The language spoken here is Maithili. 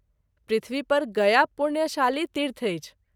पृथ्वी पर गया पुण्यशाली तीर्थ अछि।